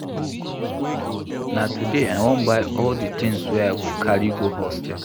Na today I wan buy all di tins wey I go carry go hostel.